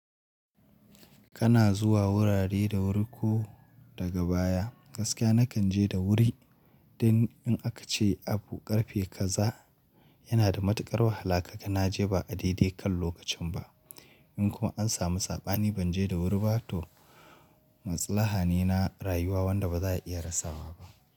Kana zuwa wurare da wuri ko daga baya. Gaskiya na kan je da wuri, dan in aka ce abu ƙarfe kaza yana da matuƙar wahala kaga naje ba a daidai kan lokacin ba. In kuma an samu saɓa ni ban je da wuri ba to matsala na rayuwa wanda ba za a iya rasawa ba.